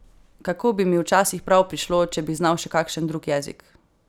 Kako bi mi včasih prav prišlo, če bi znal še kakšen drug jezik!